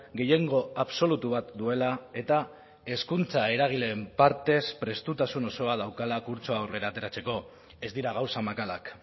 gehiengo absolutu bat duela eta hezkuntza eragileen partez prestutasun osoa daukala kurtsoa aurrera ateratzeko ez dira gauza makalak